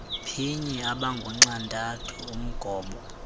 phinye abangunxantathu umgobo